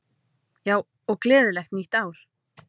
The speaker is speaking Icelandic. Já, og gleðilegt nýtt ár!